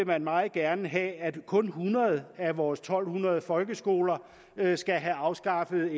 man meget gerne have at kun hundrede af vores to hundrede folkeskoler skal have afskaffet